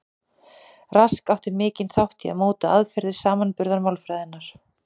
Rask átti mikinn þátt í að móta aðferðir samanburðarmálfræðinnar.